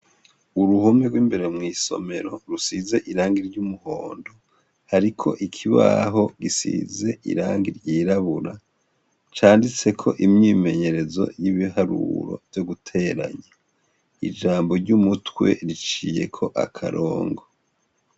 Uruhome rw'imbere mw'isomero, rusize irangi ry'umuhondo, hariko ikibaho gisize irangi ryirabura. Canditseko imyimenyerezo y'ibiharuro vyo guteranya, ijambo ry'umutwe riciyeko akarongo.